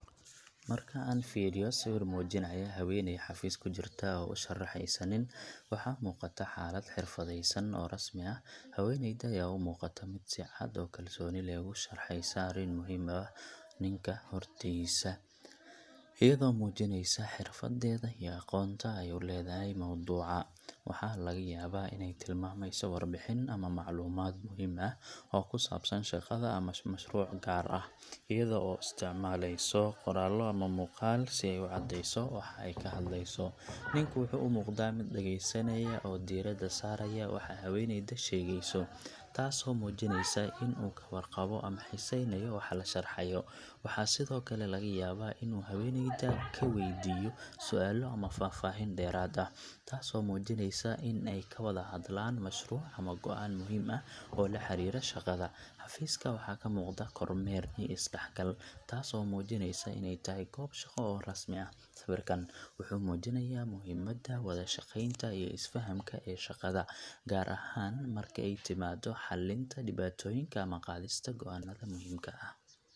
Marka aan fiiriyo sawir muujinaya haweeney xafiis ku jirta oo u sharxeysa nin, waxa muuqata xaalad xirfadaysan oo rasmi ah. Haweeneyda ayaa u muuqata mid si cad oo kalsooni leh ugu sharxaysa arrin muhiim ah ninka hortiisa, iyadoo muujineysa xirfaddeeda iyo aqoonta ay u leedahay mawduuca. Waxaa laga yaabaa inay tilmaamayso warbixin ama macluumaad muhiim ah oo ku saabsan shaqada ama mashruuc gaar ah, iyadoo isticmaaleysa qoraallo ama muuqaal si ay u caddeyso waxa ay ka hadleyso. Ninku wuxuu u muuqdaa mid dhegeysanaya oo diiradda saaraya waxa haweeneydu sheegayo, taasoo muujineysa in uu ka warqabo ama xiiseynayo waxa la sharxayo. Waxaa sidoo kale laga yaabaa in uu haweeneyda ka weydiiyo su’aalo ama faahfaahin dheeraad ah, taasoo muujinaysa in ay ka wada hadlaan mashruuc ama go'aan muhiim ah oo la xiriira shaqada. Xafiiska waxaa ka muuqda kormeer iyo is-dhexgal, taas oo muujinaysa inay tahay goob shaqo oo rasmi ah. Sawirkan wuxuu muujinayaa muhiimadda wada-shaqeynta iyo is-fahamka ee shaqada, gaar ahaan marka ay timaado xalinta dhibaatooyinka ama qaadista go'aannada muhiimka ah.